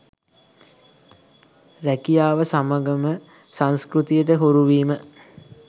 රැකියාව සමඟම සංස්කෘතියට හුරුවීම